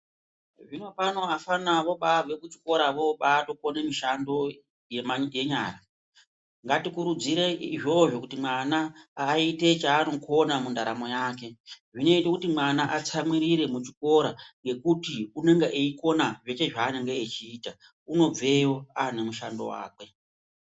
Zvino pano vafana vobaabve kuchikora voobaatokone mushando yenyara. Ngatikurudzire izvozvo kuti mwana aite chaanokona mundaramo yake. Zvinoite kuti mwana atsamwirire muchikora ngekuti unonga eikona zveshe zvaanenge achiita. Unobveyo waanemushando wake.